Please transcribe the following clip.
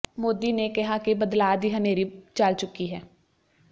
ਮੋਦੀ ਨੇ ਕਿਹਾ ਕਿ ਬਦਲਾਅ ਦੀ ਹਨੇਰੀ ਚੱਲ ਚੁੱਕੀ ਹੈ